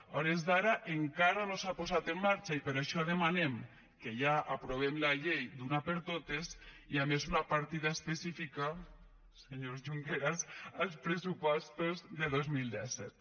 a hores d’ara encara no s’ha posat en marxa i per això demanem que ja aprovem la llei d’una per totes i a més una partida específica senyor junqueras als pressupostos de dos mil disset